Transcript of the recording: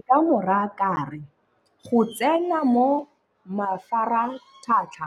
Nka mo raa ka re, go tsena mo mafaratlhatlha